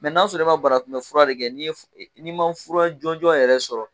Mɛ n'a sɔrɔ i ma banakunbɛ fura de kɛ, n'i ma fura jɔnjɔn yɛrɛ sɔrɔ.